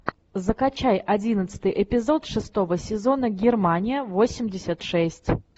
закачай одиннадцатый эпизод шестого сезона германия восемьдесят шесть